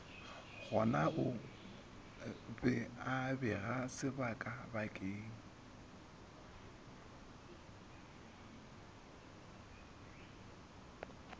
gonao be a beega sebakabakeng